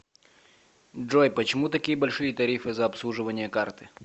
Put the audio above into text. джой почему такие большие тарифы за обслуживание карты